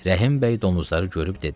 Rəhim bəy donuzları görüb dedi: